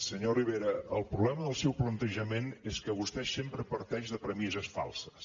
senyor rivera el problema del seu plantejament és que vostè sempre parteix de premisses falses